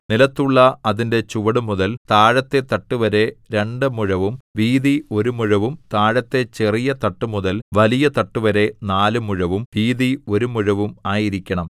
നിലത്തുള്ള അതിന്റെ ചുവടുമുതൽ താഴത്തെ തട്ടുവരെ രണ്ടു മുഴവും വീതി ഒരു മുഴവും താഴത്തെ ചെറിയ തട്ടുമുതൽ വലിയ തട്ടുവരെ നാല് മുഴവും വീതി ഒരു മുഴവും ആയിരിക്കണം